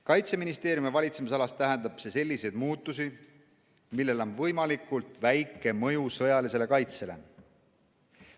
Kaitseministeeriumi valitsemisalas tähendab see selliseid muutusi, millel on võimalikult väike mõju sõjalisele kaitsele.